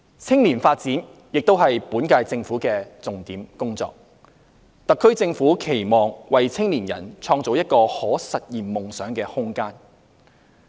青年發展亦是本屆政府的重點工作，特區政府期望為青年人創造一個可實現夢想的空間。